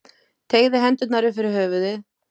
Teygði hendurnar upp fyrir höfuðið.